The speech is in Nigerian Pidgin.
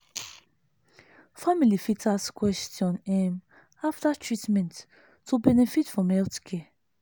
family fit ask question um after treatment to benefit from health care.